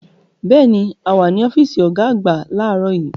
Bẹ́ẹ̀ni, a wà ní ọ́fíìsì ọ̀gá àgbà láàárọ̀ yìí.